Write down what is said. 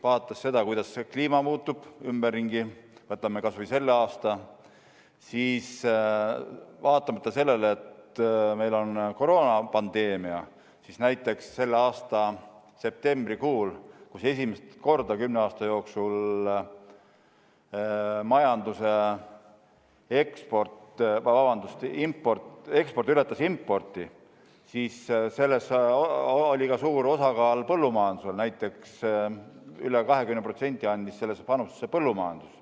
Vaadates seda, kuidas kliima ümberringi muutub – võtame kas või selle aasta –, siis vaatamata sellele, et meil on koroonapandeemia, näiteks selle aasta septembrikuus, kui esimest korda kümne aasta jooksul majanduse eksport ületas importi, oli selles suur osa ka põllumajandusel: üle 20% oli selles põllumajanduse panust.